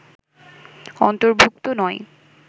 অন্তর্ভুক্ত নই